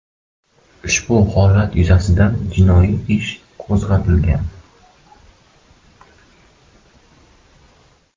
Ushbu holat yuzasidan jinoiy ish qo‘zg‘atilgan.